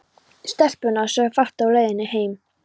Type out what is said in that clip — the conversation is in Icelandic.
Stelpurnar sögðu fátt á leiðinni heim.